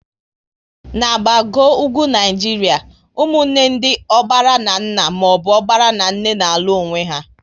Na gbagoo ugwu Naịjiria, ụmụnne ndị ọgbara na nna maọbụ ọgbara na nne n'alu onwe ha